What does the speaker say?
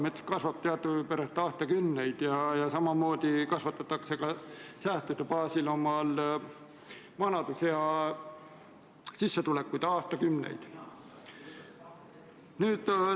Mets kasvab teadupärast aastakümneid ja samamoodi kasvatatakse säästude baasil omale vanadusajaks sissetulekut aastakümneid.